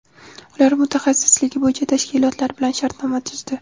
Ular mutaxassisligi bo‘yicha tashkilotlar bilan shartnoma tuzdi.